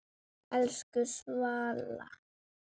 Elsku Svala.